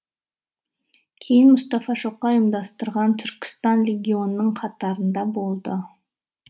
кейін мұстафа шоқай ұйымдастырған түркістан легионының қатарында болды